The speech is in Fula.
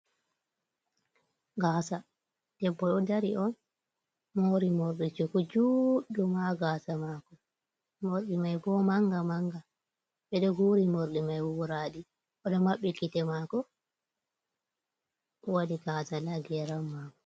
Gasa ɗebbo ɗo ɗari on mori morɗi cuku juuɗum ha gasa mako. Morɗi mai bo manga manga. beɗo guri morɗi mai wuradi. oɗo mabbi kite mako wadi gaza ha geram mako.